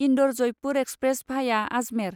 Indore Jaipur express भाया आजमेर